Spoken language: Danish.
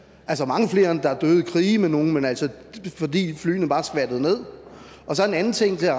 mange flere end der er døde i krige med nogen fordi flyene bare skvattede ned så en anden ting jeg